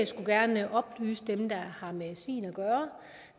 skulle gerne oplyse dem der har med svin at gøre